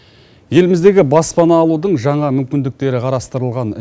еліміздегі баспана алудың жаңа мүмкіндіктері қарастырылған